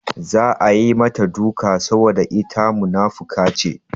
Za a yi mata duka saboda ita munafuka ce.